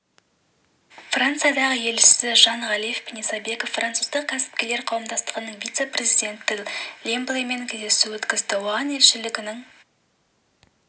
франциядағы елшісі жан ғалиев пен исабеков француздық кәсіпкерлер қауымдастығының вице-президенті лемблемен кездесу өткізді оған елшілігінің